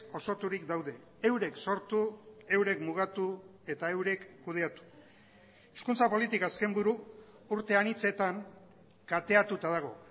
osoturik daude eurek sortu eurek mugatu eta eurek kudeatu hezkuntza politika azken buru urte anitzetan kateatuta dago